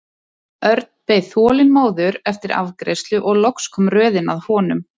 Örn beið þolinmóður eftir afgreiðslu og loks kom röðin að honum.